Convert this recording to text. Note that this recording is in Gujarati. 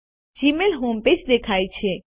જીમેઇલ હોમ પેજ દેખાય છે